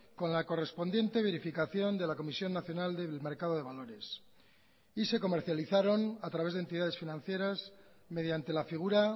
con la correspondiente verificación de la comisión nacional del mercado de valores y se comercializaron a través de entidades financieras mediante la figura